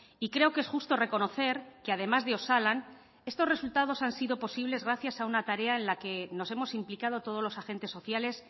y creo que es justo reconocer que además de osalan estos resultados han sido posibles gracias a una tarea en la que nos hemos implicado todos los agentes sociales